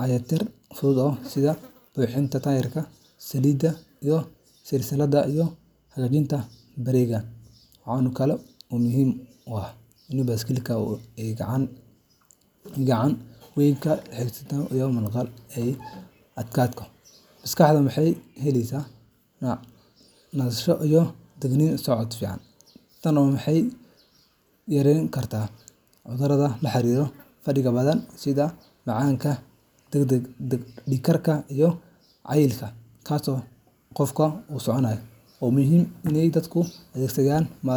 dayactir fudud sida buuxinta tayirada, saliidda silsiladda, iyo hagaajinta bareega. Waxaa kale oo muhiim ah in baaskiiladu ay gacan weyn ka geystaan caafimaadka qofka. Marka aad baaskiil kaxeyso, jirkaagu wuu shaqeeyaa, wadnaha ayaa xoog yeesha, murqaha ayaa adkaada, maskaxduna waxay helaysaa nasasho iyo dhiig socod fiican. Tani waxay yareyn kartaa cudurrada la xiriira fadhiga badan sida macaanka, dhiig-karka, iyo cayilka xad-dhaafka ah. Dalal badan oo horumaray sida Netherlands, Denmark, iyo Germany, baaskiiladu waxay ka yihiin gaadiidka ugu muhiimsan ee dadku adeegsadaan.